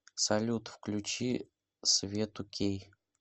салют включи свету кей